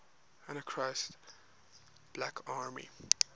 anarchist black army